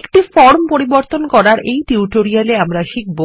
একটি ফরম পরিবর্তন করার এই টিউটোরিয়ালে আমরা শিখব